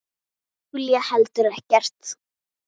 Júlía heldur ekkert.